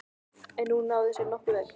En hún náði sér nokkuð vel.